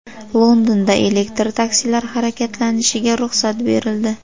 Londonda elektr taksilar harakatlanishiga ruxsat berildi.